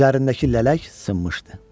Üzərindəki lələk sınmışdı.